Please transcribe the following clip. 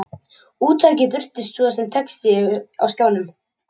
Úttakið birtist svo sem texti á skjánum.